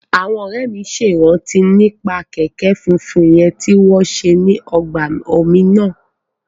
Àwọn ọ̀rẹ́ mi ṣe ìrántí nípa kẹ̀kẹ́ fúfúyẹ́ tí wọ́n ṣe ní ọgbà omi náà